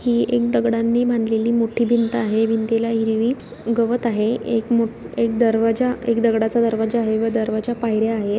ही एक दगडांनी बनलेली एक मोट्टी भिंत आहे भिंतीला हिरवी गवत आहे एक मो-- एक दरवाजा एक दगडाचा दरवाजा आहे व दरवाजा पायर्‍या आहेत.